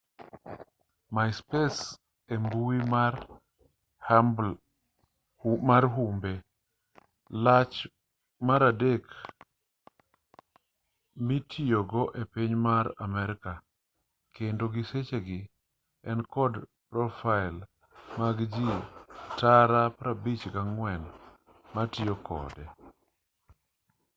myspace e mbui ma humbe lach mar adek mitiyogo e piny mar amerka kendo gi e sechegi en kod profail mag ji tara 54 matiyo kode